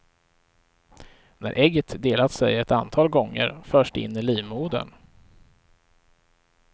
När ägget delat sig ett antal gånger förs det in i livmodern.